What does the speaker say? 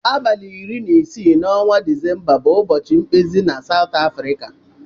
Abali ori na isi na ọnwa decemba bu ụbọchi mkpezi na afrika.